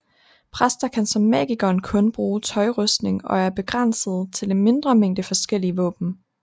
Præster kan som magikeren kun bruge tøjrustning og er begrænset til en mindre mængde forskellige våben